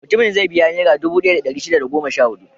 Mutumin zai biya Nera dubu ɗaya da ɗari shida da goma sha huɗu.